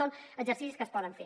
són exercicis que es poden fer